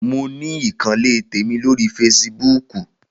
Mo ní ìkànnlé tèmi lórí feṣibúkù.